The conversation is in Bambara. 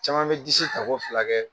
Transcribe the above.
Caman bɛ disi ta ko fila kɛ.